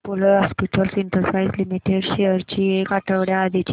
Apollo hospitals enterprise limited shares ची एक आठवड्या आधीची प्राइस